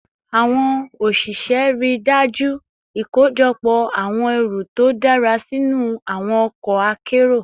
Awon osise rii daju ikojọpọ awọn ẹru to dara sinu awọn ọkọ akero